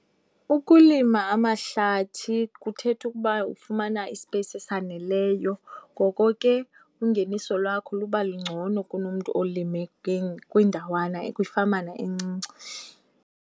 Ukulima amahlathi kuthetha ukuba ufumana isipeyisi esaneleyo, ngoko ke ungeniso lwakho luba lungcono kunomntu olime kwindawana, kwifamana encinci.